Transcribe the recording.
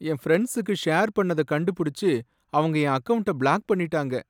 என் பிரண்ட்ஸ்க்கு ஷேர் பண்ணத கண்டுபுடிச்சு, அவங்க என் அக்கவுண்ட்ட பிளாக் பண்ணிட்டாங்க.